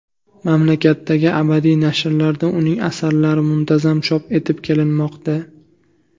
Mamlakatdagi adabiy nashrlarda uning asarlari muntazam chop etib kelinmoqda.